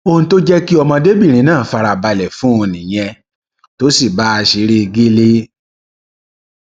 ohun tó jẹ kí ọmọdébìnrin náà fara balẹ fún un nìyẹn tó sì bá a ṣeré egéle